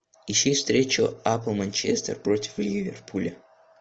ищи встречу апл манчестер против ливерпуля